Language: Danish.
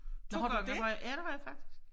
2 gange har jeg ja det har jeg faktisk